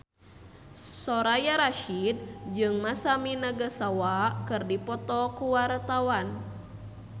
Soraya Rasyid jeung Masami Nagasawa keur dipoto ku wartawan